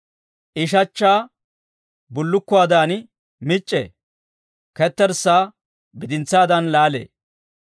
I shachchaa bullukkuwaadan mic'c'ee; ketterssaa bidintsaadan laalee.